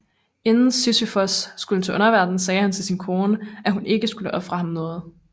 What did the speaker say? Inden Sisyfos skulle til underverdenen sagde han til sin kone at hun ikke skulle ofre ham noget